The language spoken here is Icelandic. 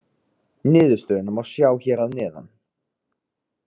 Niðurstöðuna má sjá hér að neðan.